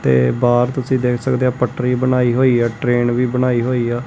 ਤੇ ਬਾਰ ਤੁਸੀਂ ਦੇਖ ਸਕਦੇ ਆ ਪਟਰੀ ਬਣਾਈ ਹੋਈ ਆ ਟਰੇਨ ਵੀ ਬਣਾਈ ਹੋਈ ਆ।